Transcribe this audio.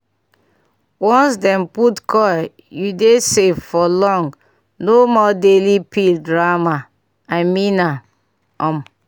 once dem put coil u dey safe for long no more daily pill drama. i mean am um